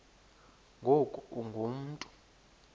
ngoku ungu mntu